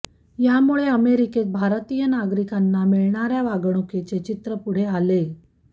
यामुळे अमेरिकेत भारतीय नागरिकांना मिळणाऱ्या वागणुकीचे चित्र पुढे आलेय